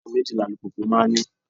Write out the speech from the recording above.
Taya méjì ni alùpùpù máa ń ní.